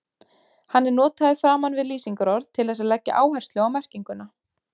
Hann er notaður framan við lýsingarorð til þess að leggja áherslu á merkinguna.